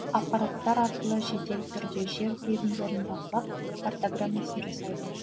аппараттар арқылы жедел түрде жер телімдерін бақылап картаграммасын жасайды